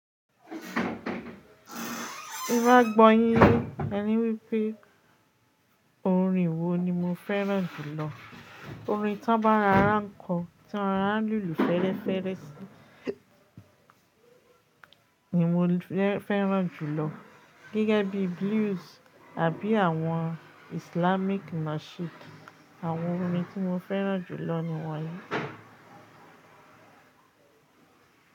Tí n bá gbọ́ yín yé, ẹni wípé orin wo ni mo fẹ́ràn jùlọ? Orin tí wọ́n bá n rara n kó tí wọ́n n rara n lùlù fẹ́ẹ́rẹ́fẹ́ sí ni mo fẹ́ràn jùlọ. Gẹ́gẹ́ bí blues àbí àwọn Islamic nasheed. Àwọn orin tí mo fẹ́ràn jùlọ nì wọ̀nyìí.